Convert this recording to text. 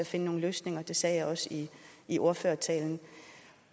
finde nogle løsninger det sagde jeg også i i ordførertalen